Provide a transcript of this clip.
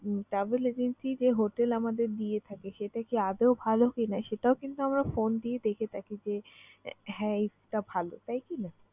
উম travel agency যে hotel আমাদের দিয়ে থাকে সেটা কি আদৌ ভালো কিনা সেটাও কিন্তু আমরা phone দিয়ে দেখে থাকি যে হ্যাঁ, এইটা ভালো। তাই কিনা?